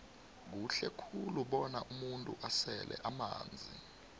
kuhle khulu bona umuntu asele amanzi